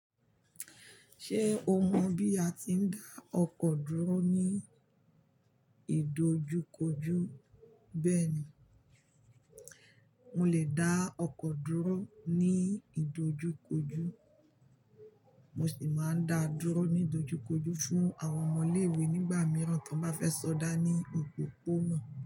Ṣé o mọ̀ bí a ti ń dá ọkọ̀ dúró ní ìdojúkojú? Bẹ́ẹ̀ni, mo lè dá ọkọ̀ dúró ní ìdojúkojú. Mo sì máa ń dáa dúró ní ìdojúkojú fún àwọn ọmọ ilé-ìwé nígbà mìíràn tí wọ́n bá fẹ́ sọdá ní òpópónà.